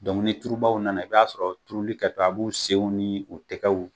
ni turubaw nana i b'a sɔrɔ turuli kɛ tɔ a b'u senw ni u tɛgɛw